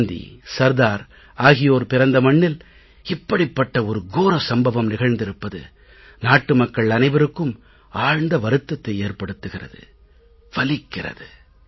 காந்தி சர்தார் ஆகியோர் பிறந்த மண்ணில் இப்படிப்பட்ட ஒரு கோர சம்பவம் நிகழ்ந்திருப்பது நாட்டு மக்கள் அனைவருக்கும் ஆழ்ந்த வருத்தத்தை ஏற்படுத்துகிறது வலிக்கிறது